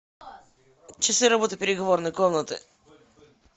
часы работы переговорной комнаты